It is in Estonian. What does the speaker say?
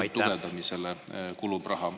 … ja võrgu tugevdamisele kulub raha.